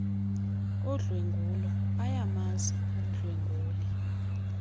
odlwengulo ayamazi umdlwenguli